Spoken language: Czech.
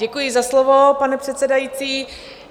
Děkuji za slovo, pane předsedající.